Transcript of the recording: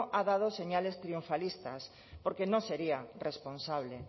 ha dado señales triunfalistas porque no sería responsable